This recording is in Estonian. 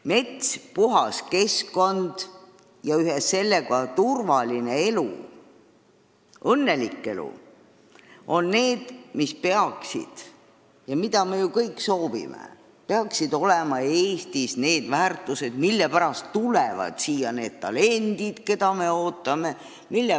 Mets, puhas keskkond ja ühes sellega turvaline elu, õnnelik elu on ja peaksidki olema – seda me kõik ju soovime – Eestis need väärtused, mille pärast tulevad siia need talendid, keda me ootame.